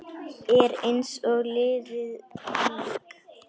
Er eins og liðið lík.